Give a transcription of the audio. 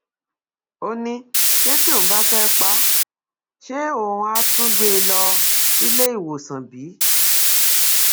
ó ní ṣe tí òun bá fẹẹ pa á ṣe òun àá tún gbé e lọ sílé ìwòsàn bí